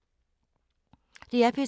DR P3